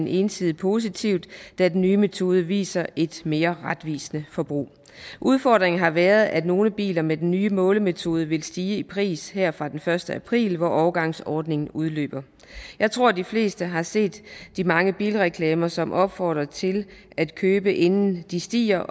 entydigt positivt da den nye metode viser et mere retvisende forbrug udfordringen har været at nogle biler med den nye målemetode vil stige i pris her fra den første april hvor overgangsordningen udløber jeg tror at de fleste har set de mange bilreklamer som opfordrer til at købe inden de stiger